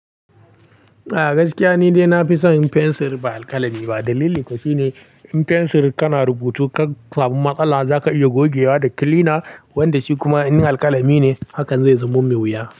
A gaskiya ni dai nafi son fensir ba alkalami ba dalili kuwa shine in fensir kana rubutu ka samu matsala zaka iya gogewa da kilina wanda shi kuma in alkalami ne hakan zai zamo mai wuya.